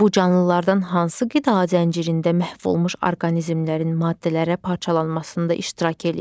Bu canlılardan hansı qida zəncirində məhv olmuş orqanizmlərin maddələrə parçalanmasında iştirak eləyir?